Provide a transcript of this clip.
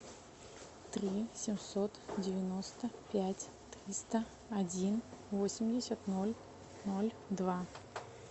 три семьсот девяносто пять триста один восемьдесят ноль ноль два